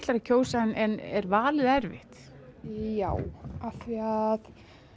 að kjósa en er valið erfitt já af því að